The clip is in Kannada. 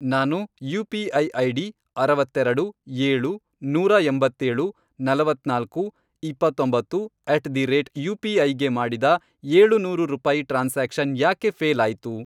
ನಾನು ಯು.ಪಿ.ಐ. ಐಡಿ, ಅರವತ್ತೆರೆಡು, ಏಳು, ನೂರಾ ಎಂಬತ್ತೇಳು, ನಲವತ್ನಾಲ್ಕು, ಇಪ್ಪತ್ತೊಂಬತ್ತು, ಅಟ್ ದಿ ರೇಟ್ ಯುಪಿಐ ಗೆ ಮಾಡಿದ ಏಳುನೂರು ರೂಪಾಯಿ ಟ್ರಾನ್ಸಾಕ್ಷನ್ ಯಾಕೆ ಫ಼ೇಲ್ ಆಯ್ತು?